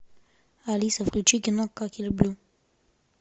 алиса включи кино как я люблю